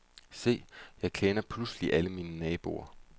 Se, jeg kender pludselig alle mine naboer.